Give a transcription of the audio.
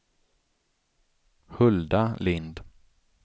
Hulda Lind